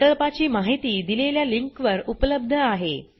प्रकल्पाची माहिती दिलेल्या लिंकवर उपलब्ध आहे